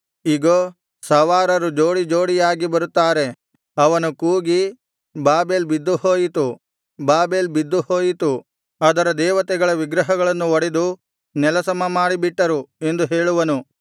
ಇಗೋ ಸವಾರರು ಜೋಡಿ ಜೋಡಿಯಾಗಿ ಬರುತ್ತಾರೆ ಅವನು ಕೂಗಿ ಬಾಬೆಲ್ ಬಿದ್ದು ಹೋಯಿತು ಬಾಬೆಲ್ ಬಿದ್ದು ಹೋಯಿತು ಅದರ ದೇವತೆಗಳ ವಿಗ್ರಹಗಳನ್ನು ಒಡೆದು ನೆಲಸಮ ಮಾಡಿಬಿಟ್ಟರು ಎಂದು ಹೇಳುವನು